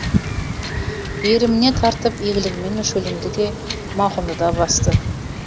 иіріміне тартып игілігімен шөлімді де мауқымды да басты